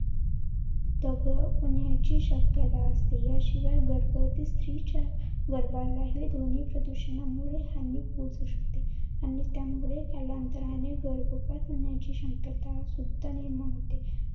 दगावण्याची शक्यता असते. याशिवाय गर्भवती स्त्रीच्या गर्भाला हि ध्वनी प्रदूषणामुळे हानी पोहचू शकते आणि त्यामुळे कालांतराने गर्भपात होण्याची शक्यता सुद्धा निर्माण होते.